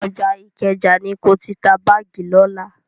Ọjà Ìkẹjà ni ko ti ta báàgì lọ́la.